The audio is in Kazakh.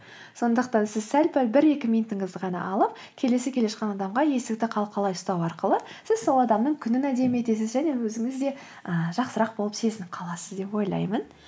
сондықтан сіз сәл пәл бір екі минутыңызды ғана алып келесі келе жатқан адамға есікті қалқалай ұстау арқылы сіз сол адамның күнін әдемі етесіз және өзіңіз де ыыы жақсырақ болып сезініп қаласыз деп ойлаймын